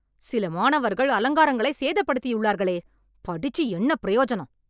சில மாணவர்கள் அலங்காரங்களை சேதப்படுத்தியுள்ளார்களே படிச்சு என்ன பிரேயோஜனம்